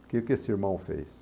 O que que esse irmão fez?